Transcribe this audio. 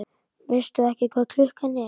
Veistu ekki hvað klukkan er?